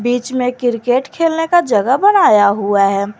बीच में क्रिकेट खेलने का जगह बनाया हुआ है।